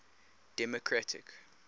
democratic